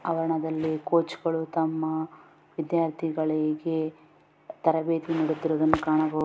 ಆವರ್ಣದಲ್ಲಿ ಕೊಚಗಳು ತಮ್ಮ ವಿದ್ಯಾರ್ಥಿಗಳಿಗೆ ತರಭೇತಿ ನೀಡುತಿರುವದನ್ನು ಕಾಣಬಹುದು .